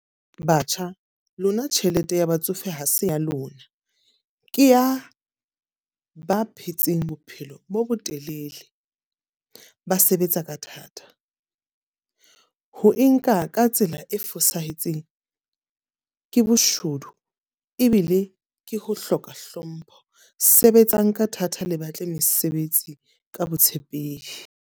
Batjha lona tjhelete ya batsofe ha se ya lona. Ke ya ba phetseng bophelo bo bo telele ba sebetsa ka thata. Ho e nka ka tsela e fosahetseng ke boshodu ebile ke ho hloka hlompho. Sebetsang ka thata le batle mesebetsi ka botshepehi.